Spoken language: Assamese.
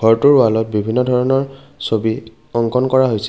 ঘৰটোৰ ৱালত বিভিন্ন ধৰণৰ ছবি অংকন কৰা হৈছে।